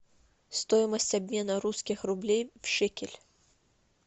стоимость обмена русских рублей в шекель